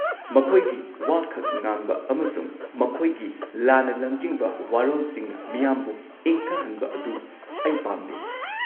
-ꯃꯈꯣꯏꯅ ꯋꯥꯈꯛ ꯉꯥꯡꯕ ꯑꯃꯁꯨꯡ ꯃꯈꯣꯏꯒꯤ ꯂꯥꯟꯅ ꯂꯝꯖꯤꯡꯕ ꯋꯥꯔꯣꯜꯁꯤꯡꯅ ꯃꯤꯌꯥꯝꯕꯨ ꯏꯪꯊꯍꯟꯕ ꯑꯗꯨ ꯑꯩ ꯄꯥꯝꯗꯦ꯫